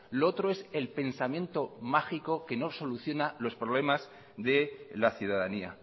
lo otro es el pensamiento mágico que no soluciona los problemas de la ciudadanía